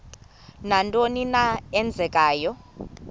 nantoni na eenzekayo